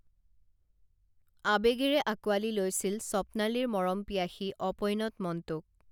আবেগেৰে আকোৱালি লৈছিল স্বপ্নালীৰ মৰম পিয়াসী অপৈণত মনটোক